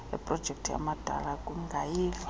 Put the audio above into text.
eprojekthi amadana kungayilwa